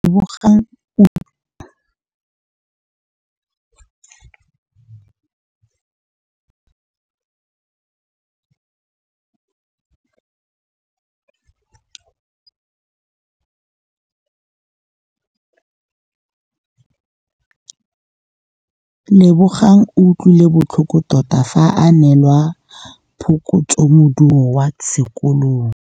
Lebogang o utlwile botlhoko tota fa a neelwa phokotsômaduô kwa sekolong.